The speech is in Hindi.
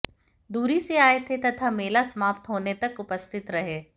दूरी से आए थे तथा मेला समाप्त होने तक उपस्थित रहें